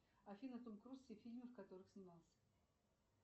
афина том круз все фильмы в которых снимался